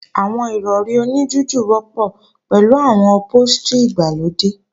Àwọn Ìrọ̀rí oní jújù wọ́pọ̀ pẹ̀lú àwọn ọ̀póstrì ìgbàlódé